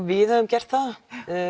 við höfum gert það